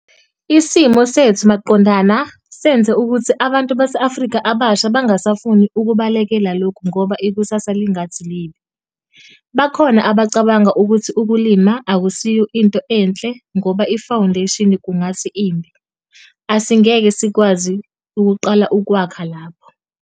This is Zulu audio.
Isimo sethu maqondana senze ukuthi abantu baseAfrika abasha bangasafuni ukubalekela lokhu ngoba ikusasa lingathi libi. Bakhona abacabanga ukuthi ukulima akusiyo into enhle ngoba ifawundesheni kungathi imbi, asingeke sikwazi ukuqala ukwakha lapho.